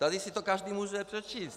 Tady si to každý může přečíst.